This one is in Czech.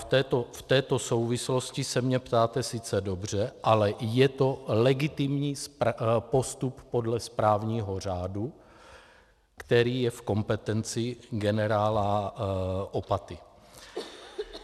V této souvislosti se mě ptáte sice dobře, ale je to legitimní postup podle správního řádu, který je v kompetenci generála Opaty.